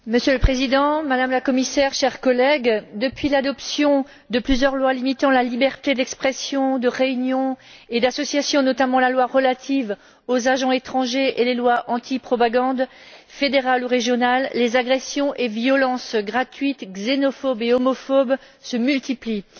Monsieur le Président, Madame la Commissaire, chers collègues, depuis l'adoption de plusieurs lois limitant les libertés d'expression, de réunion et d'association, notamment la loi relative aux agents étrangers et les lois antipropagande fédérales ou régionales, les agressions et violences gratuites xénophobes et homophobes se multiplient.